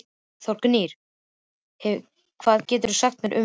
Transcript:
Þórgnýr, hvað geturðu sagt mér um veðrið?